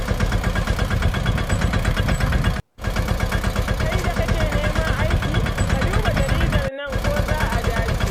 Kai da kake neman aiki, ka duba jaridar nan ko za a dace